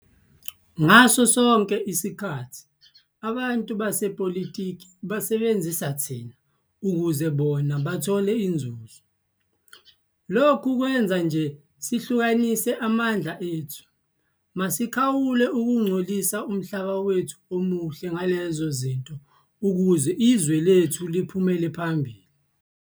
"Ngaso sonke leso sikhathi abantu basepolitiki basebenzise thina ukuze bona bathole inzuzo. Lokhu kwenza nje sihlukanise amandla ethu. Masikhawule ukungcolisa umhlaba wethu omuhle ngalezo zinto ukuze izwe lethu liphumelele phambili."